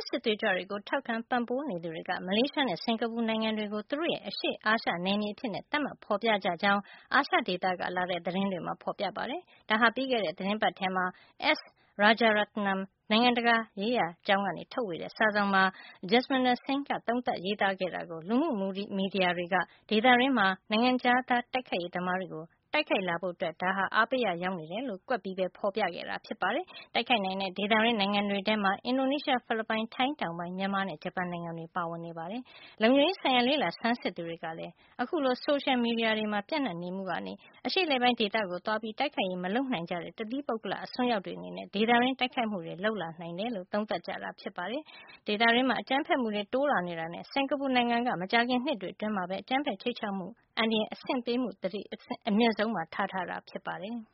စစ်သွေးကြွတွေကို ထောက်ခံ ပံ့ပိုးနေသူ တွေက မလေးရှားနဲ့ စင်္ကာပူနိုင်ငံတွေကို သူတို့ရဲ့ အရှေ့အာရှ နယ်မြေ အဖြစ် သတ်မှတ်ဖေါ်ပြကြကြောင်း အာရှဒေသက လာတဲ့ သတင်းတွေမှာ ဖေါ်ပြကြပါတယ်။ ပြီးခဲ့တဲ့ သီတင်းပတ်မှာ S. Rajaratnam နိုင်ငံတကာရေးရာကျောင်းက ထုတ်ဝေတဲ့ စာစောင်မှာ Jasminder Singh ရဲ့ သုံးသပ် ရေးသားခဲ့တာကို လူမှုမီဒီယာတွေက ဒေသတွင်းနိုင်ငံတွေထဲက ဒီ ၂ နိုင်ငံမှာ နိုင်ငံခြားသား တိုက်ခိုက်ရေး သမားတွေ တိုက်ခိုက်လာဖို့အတွက် အားပေးရာ ရောက်နေတယ်လို့ ကွက်ပြီး ဖေါ်ပြခဲ့တာ ဖြစ်ပါတယ်။ တခြား တိုက်ခိုက်နိုင်တဲ့ ဒေသတွင်းနိုင်ငံတွေ ထဲမှာ အင်ဒိုနီးရှား၊ ဖိလစ်ပိုင်၊ ထိုင်းတောင်ပိုင်း၊ မြန်မာနဲ့ ဂျပန်နိုင်ငံတွေ ပါဝင်နေတာပါ။ လုံခြုံရေး ဆိုင်ရာ လေ့လာဆန်းစစ်သူတွေကလည်း အခုလို ဆိုရှယ်မီဒီယာတွေမှာ ပြန့်နှံ့နေမှုကနေ အရှေ့အလယ်ပိုင်း ဒေသကို သွားပြီး တိုက်ခိုက်ရေး မလုပ်နိုင်ကြတဲ့ တသီးပုဂ္ဂလ အစွန်းရောက်တွေအနေနဲ့ ဒေသတွင်းမှာ တိုက်ခိုက်မှုတွေ လုပ်ဖို့ အားပေးရာ ရောက်နေတယ်လို့ သုံးသပ်ကြပါတယ်။ ဒေသတွင်းမှာ အကြမ်းဖက်မှုတွေ တိုးလာနေတာမို့ စင်္ကာပူ နိုင်ငံက မကြာခင် နှစ်တွေ အတွင်းမှာပဲ အကြမ်းဖက် ခြိမ်းခြောက်မှု အန္တရာယ် သတိပေး အဆင့်ကို အမြင့်ဆုံး သတ်မှတ်ထားတာ ဖြစ်ပါတယ်။